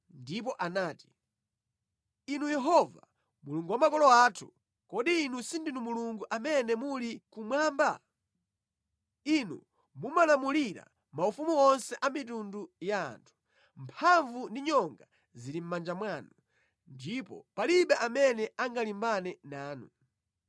ndipo anati: “Inu Yehova, Mulungu wa makolo athu, kodi Inu sindinu Mulungu amene muli kumwamba? Inu mumalamulira maufumu onse a mitundu ya anthu. Mphamvu ndi nyonga zili mʼmanja mwanu, ndipo palibe amene angalimbane nanu.